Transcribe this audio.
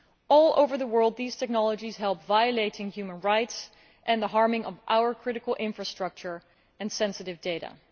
All over the world these technologies help in violating human rights and harming our critical infrastructure and sensitive data.